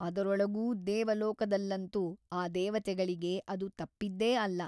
ಅದರೊಳಗೂ ದೇವಲೋಕದಲ್ಲಂತೂ ಆ ದೇವತೆಗಳಿಗೆ ಅದು ತಪ್ಪಿದ್ದೇ ಅಲ್ಲ.